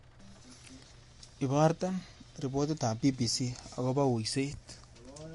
Iborte ripotitab b.b.c agoba uiset